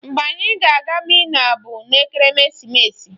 Mgbe anyị ga-aga Minna bụ n'ekeresimeesi